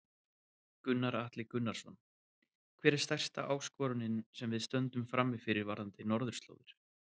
Gunnar Atli Gunnarsson: Hver er stærsta áskorunin sem við stöndum frammi fyrir varðandi Norðurslóðir?